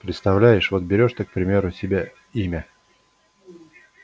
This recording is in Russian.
представляешь вот берёшь ты к примеру себе имя